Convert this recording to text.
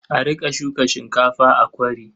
A riƙa shuka shinkafa a kwari.